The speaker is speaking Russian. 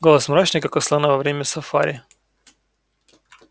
голос мрачный как у слона во время сафари